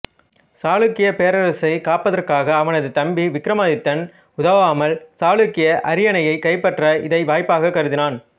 சாளுக்கிய பேரரசை காப்பதற்காக அவனது தம்பி விக்ரமாதித்தன் உதவாமல் சாளுக்கிய அரியணையைக் கைப்பற்ற இதை வாய்ப்பாகக் கருதினான்